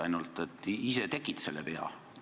Ainult et teie ise tegite selle vea.